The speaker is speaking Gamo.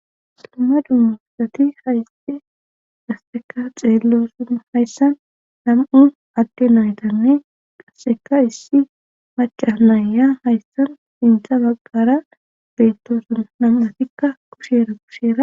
Dumma dummu asati hayse gasseka xeelosona hayssan nam7u adde naytane qasseka issi maca naayya hayssan intha baggara beettosona nam7atikka kusheera kusheera